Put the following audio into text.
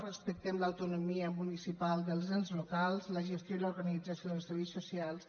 respectem l’autonomia municipal dels ens locals la gestió i l’organització dels serveis socials